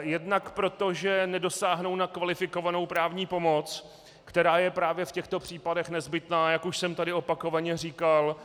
jednak proto, že nedosáhnou na kvalifikovanou právní pomoc, která je právě v těchto případech nezbytná, jak už jsem tady opakovaně říkal.